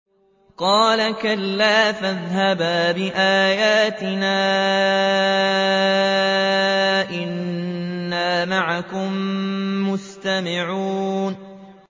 قَالَ كَلَّا ۖ فَاذْهَبَا بِآيَاتِنَا ۖ إِنَّا مَعَكُم مُّسْتَمِعُونَ